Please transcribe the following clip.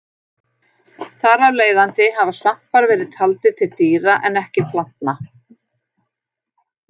Þar af leiðandi hafa svampar verið taldir til dýra en ekki plantna.